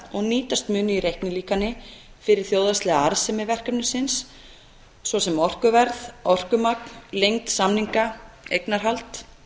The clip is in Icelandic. og nýtast munu í reiknilíkani fyrir þjóðhagslega arðsemi verkefnisins svo sem orkuverð orkumagn lengd samninga eignarhald